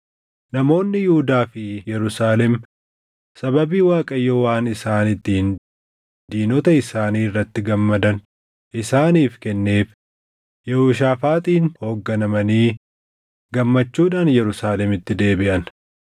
Namoonni Yihuudaa fi Yerusaalem sababii Waaqayyo waan isaan ittiin diinota isaanii irratti gammadan isaaniif kenneef Yehooshaafaaxiin hoogganamanii gammachuudhaan Yerusaalemitti deebiʼan.